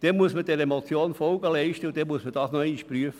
Man muss der Motion Folge leisten und das noch einmal prüfen.